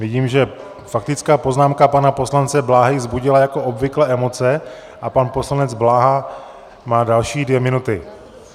Vidím, že faktická poznámka pana poslance Bláhy vzbudila jako obvykle emoce a pan poslanec Bláha má další dvě minuty.